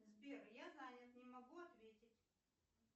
сбер я занят не могу ответить